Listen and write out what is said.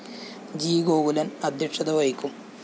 G Gokulan‍ അദ്ധ്യക്ഷത വഹിക്കും